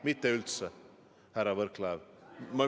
Mitte üldse, härra Võrklaev!